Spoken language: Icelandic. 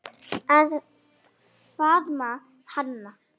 Að faðma hana.